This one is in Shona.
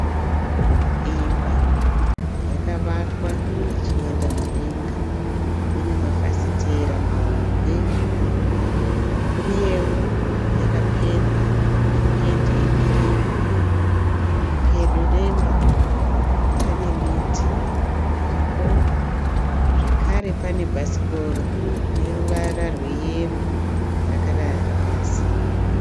Imba yakavakwa ichienda mudenga inemafafitera mahombe uyewo yakapendwa nependi yekirimu, pedo nemba pane miti iripo zvekare panebhasikoro reruvara rweyero rakarara pasi.